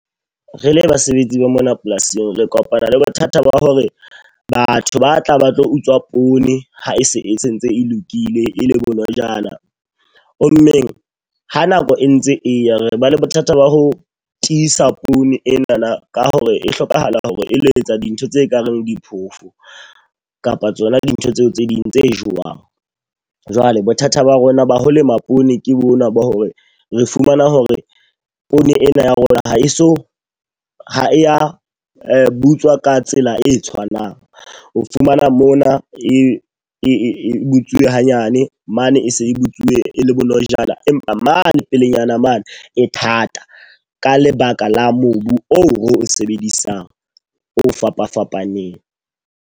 Re le basebetsi ba mona polasing. Re kopana le bothata ba hore batho ba tla ba tlo utswa poone ha e se e sentse e lokile e le bonojana. Ho mmeng ha nako e ntse eya. Re ba le bothata ba ho tiisa poone ena ka hore e hlokahala hore e lo etsa dintho tse kareng di phofo kapa tsona dintho tseo tse ding tse jowang. Jwale bothata ba rona ba ho lema poone ke bona bo hore re fumana hore poone ena ya rona ha e so ha ya butswa ka tsela e tshwanang. O fumana mona e e butsuwe hanyane mane, e se e butsuwe e le bonojana empa mane pelenyana mane e thata ka lebaka la mobu oo ro sebedisang o fapafapaneng.